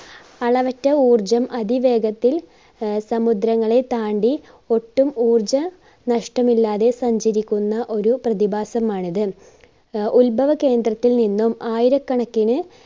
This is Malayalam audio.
അളവറ്റ ഊർജം അതിവേഗത്തിൽ ആഹ് സമുദ്രങ്ങളെ താണ്ടി ഒട്ടും ഊർജ നഷ്ടമില്ലാതെ സഞ്ചരിക്കുന്ന ഒരു പ്രതിഭാസമാണിത്. അഹ് ഉൽഭവ കേന്ദ്രത്തിൽ നിന്നും ആയിരകണക്കിന്